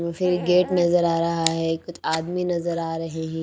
तो फिर गेट नजर आ रहा है कुछ आदमी नजर आ रहे हैं।